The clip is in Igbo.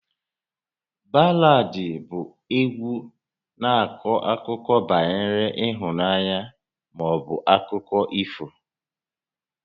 Baladị bụ égwu na-akọ akụkọ banyere ịhụnanya maọbụ akụkọ ifo